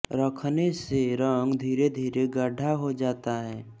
रखने से रंग धीरे धीरे गाढ़ा होता जाता है